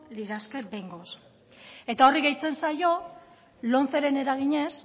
lirateke behingoz eta horri gehitzen zaio lomceren eraginez